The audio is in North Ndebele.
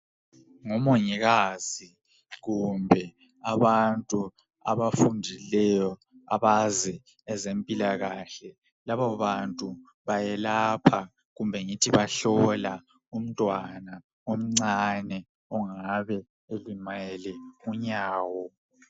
Ngomongikazi kumbe abantu abafundileyo abazi ezempilakahle labo bantu bayelapha kumbe ngithi bahlola umntwana omncane ongabe elimele unyawo.